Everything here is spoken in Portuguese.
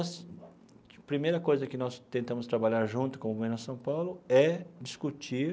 Primeira coisa que nós tentamos trabalhar junto com o Movimento Nossa São Paulo é discutir